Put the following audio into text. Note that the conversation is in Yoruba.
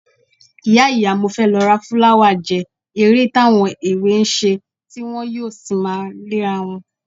Ìyá ìyá mo fẹ́ lọ ra fúláwà jẹ́ eré táwọn èwe ń ṣe tí wọn yóò sì máa léra wọn